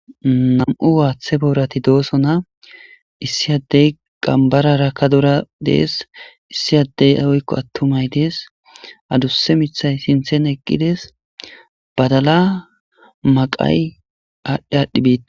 nam7u waaththe boorati dooso na issi addey qambarara ka dura dees issi addey awoykko attumay dees adusse mithay sinthen eqqides badala maqay aadhdhi aadhdhi biite